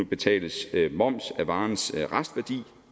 betales moms af varens restværdi